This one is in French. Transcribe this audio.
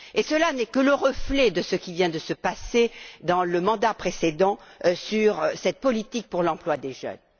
Et cela n'est que le reflet de ce qui vient de se passer dans le mandat précédent eu égard à cette politique pour l'emploi des jeunes.